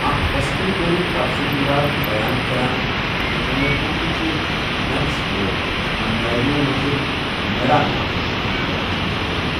اكھ وسطی دورٗك تبصِرٕ نِگار چھٗ بیان كران زِ چنٛدرٕگُپت چُھ ننٛد سٕنٛزو خانٛدارِنیٚو منٛزٕ مٗرا ناوٕ چہِ خانٛدارِنہِ ہُنٛد نیٚچُو۔